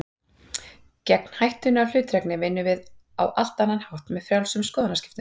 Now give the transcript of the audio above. Gegn hættunni á hlutdrægni vinnum við á allt annan hátt, með frjálsum skoðanaskiptum.